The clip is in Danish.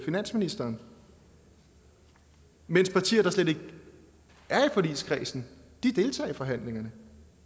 finansministeren mens partier der slet ikke er i forligskredsen deltager i forhandlingerne